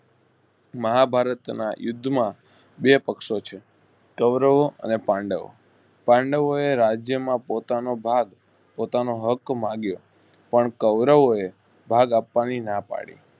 મહાભારના યુદ્ધમાં બેપક્ષો છે કૌરવો અને પાંડવો~પાંડવોએ રાજ્યમાં પોતાનો ભાગ પોતાનો હક માગ્યો પણ કૌરવોએ ભાગ આપવાની નાપાડી